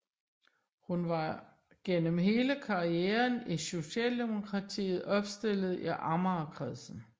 Hun var gennem hele karrieren i Socialdemokratiet opstillet i Amagerkredsen